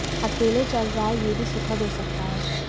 अकेले चल रहा है यह भी सुखद हो सकता है